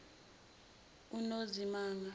unozimanga